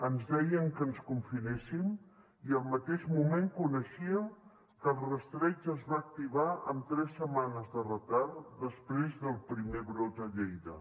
ens deien que ens confinéssim i al mateix moment coneixíem que el rastreig es va activar amb tres setmanes de retard després del primer brot a lleida